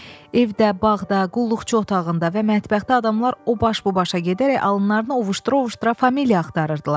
Evdə, bağda, qulluqçu otağında və mətbəxdə adamlar o baş bu başa gedərək alınlarını ovuşdura-ovuşdura familiya axtarırdılar.